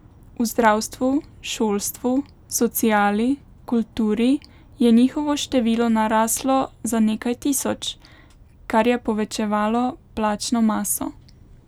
V zdravstvu, šolstvu, sociali, kulturi je njihovo število naraslo za nekaj tisoč, kar je povečevalo plačno maso.